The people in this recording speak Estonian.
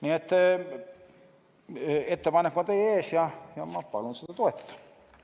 Nii et ettepanek on teie ees ja ma palun seda toetada.